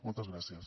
moltes gràcies